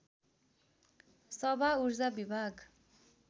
सभा ऊर्जा विभाग